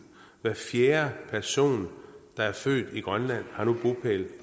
hver fjerde person der er født i grønland har nu bopæl